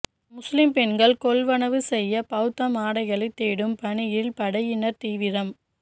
முஸ்லிம் பெண்கள் கொள்வனவு செய்த பௌத்த ஆடைகளை தேடும் பணியில் படையினர் தீவிரம்